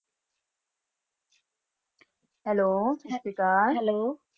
hello ਸਟਸਰੀਅਕਾਲ hello